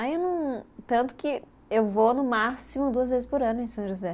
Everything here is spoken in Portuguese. Aí eu não, tanto que eu vou no máximo duas vezes por ano em São José.